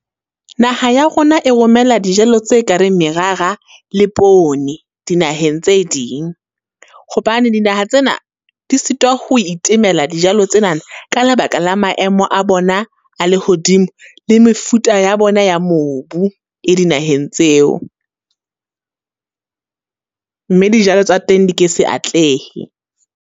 Naha ya rona e romela dijalo tse ka reng merara le pone, dinaheng tse ding. Hobane dinaha tsena, di sitwa ho itemela dijalo tsenana ka lebaka la maemo a bona a lehodimo, le mefuta ya bona ya mobu, e dinaheng tseo. Mme dijalo tsa teng di ke se atlehe.